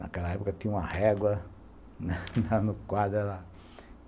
Naquela época, tinha uma régua no quadro.